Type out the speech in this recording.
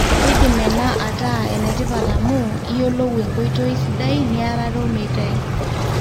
keidim ena ataa enetipat amu iyoolou enkoitoi sidai niarare olmeitai